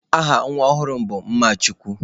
Aha nwa ọhụrụ m bụ Mmachukwu.